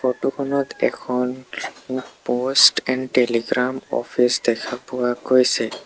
Photo খনত এখন post and telegram office দেখা পোৱা গৈছে।